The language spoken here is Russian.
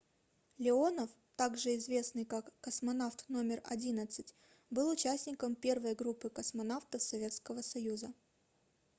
леонов также известный как космонавт № 11 был участником первой группы космонавтов советского союза